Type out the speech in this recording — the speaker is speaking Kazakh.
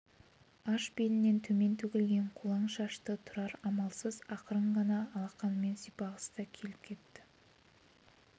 аш белінен төмен төгілген қолаң шашты тұрар амалсыз ақырын ғана алақанымен сипағысы да келіп кетті